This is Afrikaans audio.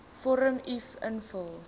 vorm uf invul